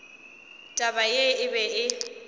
taba ye e be e